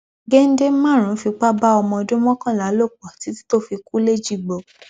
gèdè márùnín fipá bá ọmọ ọdún mọkànlá lò pọ títí tó fi kú lẹjìgbò